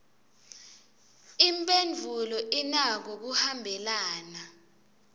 imphendvulo inako kuhambelana